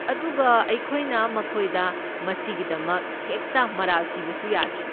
ꯑꯗꯨꯒ ꯑꯩꯈꯣꯏꯅ ꯃꯈꯣꯏꯗ ꯃꯁꯤꯒꯤꯗꯃꯛ ꯍꯦꯛꯇ ꯃꯔꯥꯜ ꯁꯤꯕꯁꯨ ꯌꯥꯗꯦ꯫